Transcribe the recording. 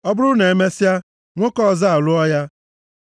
Ọ bụrụ na emesịa, nwoke ọzọ alụọ ya,